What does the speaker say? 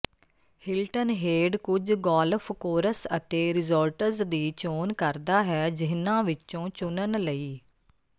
Hilton Head ਕੁਝ golf course ਅਤੇ resorts ਦੀ ਚੋਣ ਕਰਦਾ ਹੈ ਜਿਨ੍ਹਾਂ ਵਿੱਚੋਂ ਚੁਣਨ ਲਈ